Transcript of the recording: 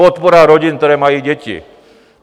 Podpora rodin, které mají děti.